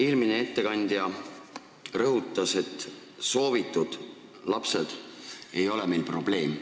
Eelmine ettekandja rõhutas, et soovitud lapsed ei ole meil probleem.